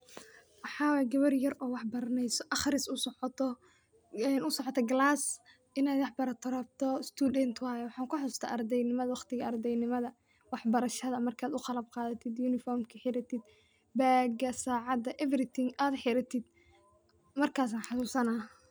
Waxay gewer yar oo wax baraneyso ,aqriis usocooto ee usocooto galas, inay wax barato rabto student waye, waxan kuxasuusta ardey nimada waqtigii ardey nima wax barashada markad u qalab qadatid yunifomka marka xiratid baag, sacada everything ad xuratid markasan xasuusana